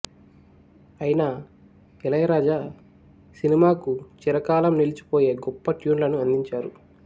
అయినా ఇళయరాజా సినిమాకు చిరకాలం నిలిచిపోయే గొప్ప ట్యూన్లను అందించారు